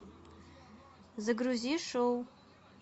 загрузи шоу